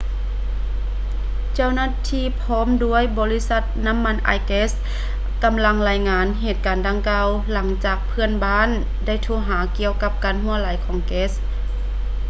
ເຈົ້າໜ້າທີ່ພ້ອມດ້ວຍບໍລິສັດນ້ຳມັນອາຍແກັດ ກຳລັງລາຍງານເຫດການດັ່ງກ່າວ ຫຼັງຈາກເພື່ອນບ້ານໄດ້ໂທຫາກ່ຽວກັບການຮົ່ວໄຫຼຂອງແກັດ